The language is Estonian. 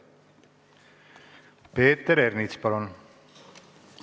Peeter Ernits, palun!